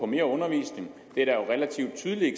mere undervisning det er der jo relativt tydelige